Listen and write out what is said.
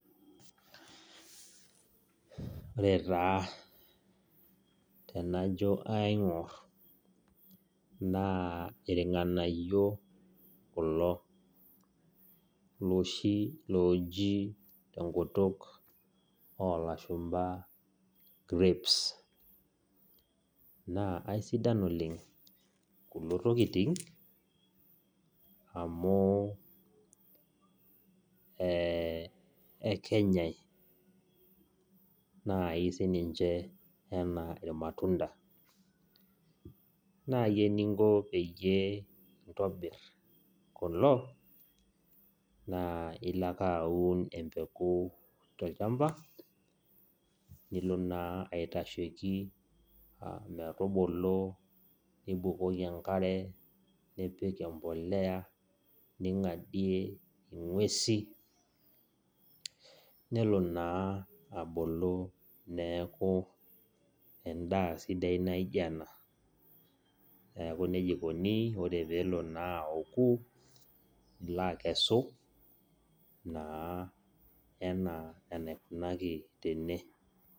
Ore taa tenajo aing'or naa irng'anayio kulo loshi looji tenkutuk oolashumba grips naa eisidai oleng kulo tokitin amu eeh ekenyai naaji sii ninche enaa irmayunda ore eninko tenintabir kulo naa ilo ake aun embeku tolchamba nibukoki enkare ning'adie inguesi nelo naa abulu neeku endaa sidai naijio ena ore peelo aku nilo akesu enaa enaikunaki tene.